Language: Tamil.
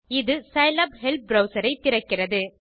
இது சிலாப் ஹெல்ப் ப்ரவ்சர் ஐ திறக்கிறது